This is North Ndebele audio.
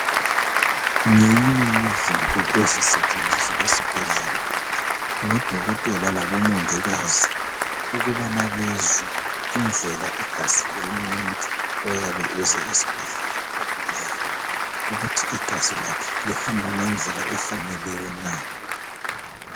Ngeyinye yezinto ezisetshenziswa esibhedlela ngodokotela labomongikazi, ukubana bezwe indlela igazi lomuntu oyabe eze esibhedlela ogulayo ukuthi igazi lakhe lihamba ngendlela efaneleyo na.